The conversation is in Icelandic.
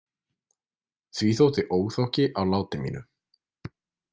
Því þótti óþokki á láti mínu.